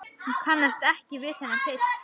Hún kannast ekki við þennan pilt.